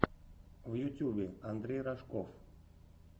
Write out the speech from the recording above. в ютюбе андрей рожков